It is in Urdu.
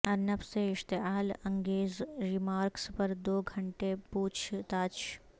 ارنب سے اشتعال انگیز ریمارکس پر دو گھنٹے پوچھ تاچھ